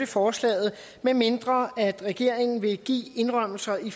forslaget medmindre regeringen vil give indrømmelser i